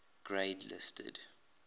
grade listed